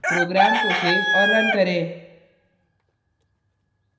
program को save और run करें